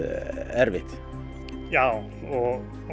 erfitt já og